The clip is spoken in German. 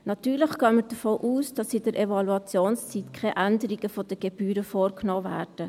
Natürlich gehen wir davon aus, dass in der Evaluationszeit keine Änderung der Gebühren vorgenommen wird.